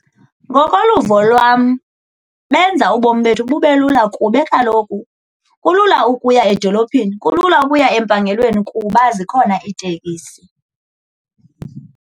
Ngokoluvo lwam benza ubomi bethu bube lula kube kaloku kulula ukuya edolophini kulula ukuya empangelweni kuba zikhona iitekisi.